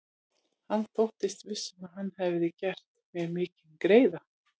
Hann þóttist viss um, að hann hefði gert mér mikinn greiða.